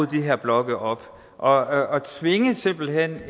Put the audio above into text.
de her blokke op og simpelt hen